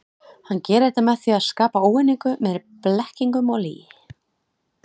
Hann gerir þetta með því að skapa óeiningu með blekkingum og lygi.